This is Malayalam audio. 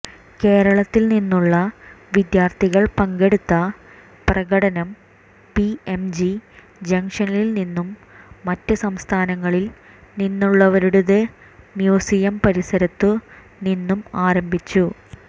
കേരളത്തിൽ നിന്നുള്ള വിദ്യാർത്ഥികൾ പങ്കെടുത്ത പ്രകടനം പിഎംജി ജങ്ഷനിൽ നിന്നും മറ്റ് സംസ്ഥാനങ്ങളിൽ നിന്നുള്ളവരുടെത് മ്യൂസിയം പരിസരത്തു നിന്നും ആരംഭിച്ചു